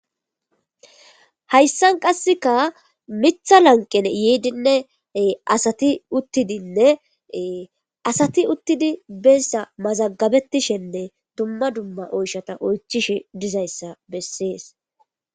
Hayssan qassika miththa lanqqeni yiidinne asathi uththidinne asathi uththi beyssa mazagabeththishenne dumma dumma oysha oychchishe duizayssa bessees.